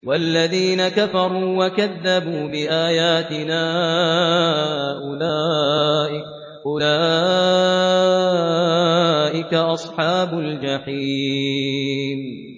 وَالَّذِينَ كَفَرُوا وَكَذَّبُوا بِآيَاتِنَا أُولَٰئِكَ أَصْحَابُ الْجَحِيمِ